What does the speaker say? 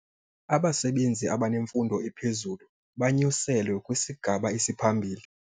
Abasebenzi abanemfundo ephezulu banyuselwe kwisigaba esiphambili.